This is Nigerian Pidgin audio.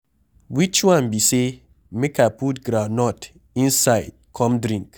Which one be say make I put groundnut inside come drink.